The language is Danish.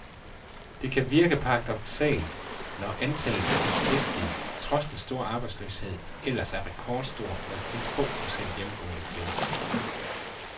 Det kan virke paradoksalt, når antallet af beskæftigede, trods den store arbejdsløshed, ellers er rekordstor med kun få procent hjemmegående kvinder.